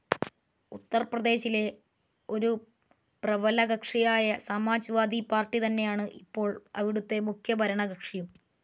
ഉത്തർപ്രദേശിലെ ഒരു പ്രബലകക്ഷിയായ സമാജ്‍വാദി പാർട്ടി തന്നെയാണ് ഇപ്പോൾ അവിടുത്തെ മുഖ്യ ഭരണകക്ഷിയും.